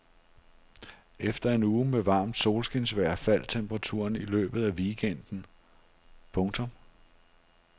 Efter en uge med varmt solskinsvejr faldt temperaturen i løbet af weekenden. punktum